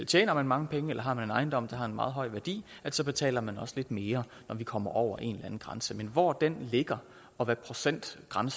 tjener mange penge eller har en ejendom der har en meget høj værdi så betaler man også lidt mere når vi kommer over en anden grænse men hvor den ligge og hvad procentsatserne